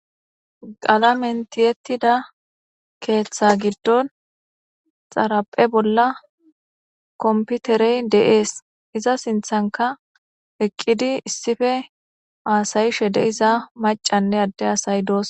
Qallamen tiyettida keththa giddon xaraphe bolla coompiterey de'es iza sinthanka eqqidi issippe hasa'she de'za maccanne adde asati doosona.